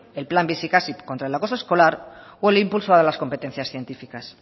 el plan bizikasi contra el acoso escolar o el impulso de las competencias científicas